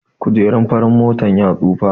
Kujerun farin motar ya tsufa